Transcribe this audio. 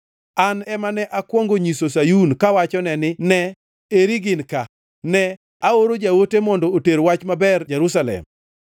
An ema ne akwongo nyiso Sayun kawachone ni, ‘Ne, eri gin ka!’ Ne aoro jaote mondo oter wach maber Jerusalem.